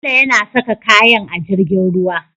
Bello yana saka kayan a jirgin ruwa